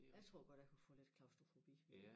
Jeg tror godt jeg kunne få lidt klaustrofobi